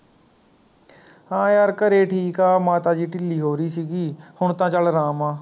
ਹਾਂ ਯਾਰ ਘਰੇ ਠੀਕ ਹਾਂ ਮਾਤਾ ਜੀ ਢਿੱਲੀ ਹੋ ਰਹੀ ਸੀਗੀ ਹੁਣ ਤਾਂ ਚੱਲ ਆਰਾਮ ਆ